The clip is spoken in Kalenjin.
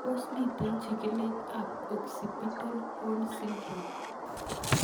Tos mito chig'ilet ab occipital horn syndrome?